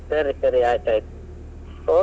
ಸರಿ ಸರಿ ಆಯ್ತ್ ಆಯ್ತ್.